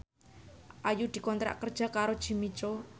Ayu dikontrak kerja karo Jimmy Coo